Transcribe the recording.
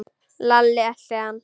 Lalli elti hann.